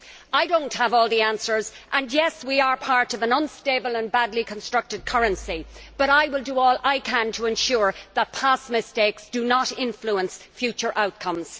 I do not have all the answers and yes, we are part of an unstable and badly constructed currency, but I will do all I can to ensure that past mistakes do not influence future outcomes.